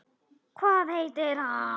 LÁRUS: Hvað heitir hann?